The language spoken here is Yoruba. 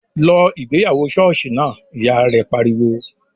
"Lọ ìgbéyàwó ṣọ́ọ̀ṣì náà!", Ìyá rẹ̀ pariwo